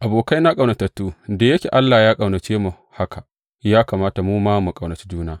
Abokaina ƙaunatattu, da yake Allah ya ƙaunace mu haka, ya kamata mu ma mu ƙaunaci juna.